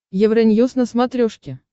евроньюз на смотрешке